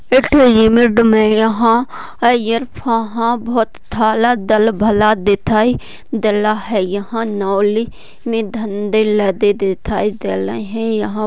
Limit में यहां अय्यर वहां बहुत कल डाल भला दिखाई देना है यहां नौली में धंधेला दे देता है। यहां --